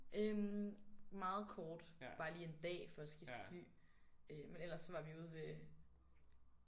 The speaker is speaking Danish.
Øh meget kort bare lige en dag for at skifte fly øh men eller så var vi ude ved